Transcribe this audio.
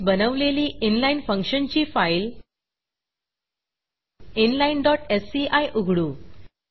आधीच बनवलेली inlineइनलाइन फंक्शनची फाईल inlineएससीआय उघडू